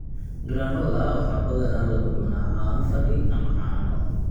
Granola waxaa badanaa lagu cunaa caano fadhi ama caano.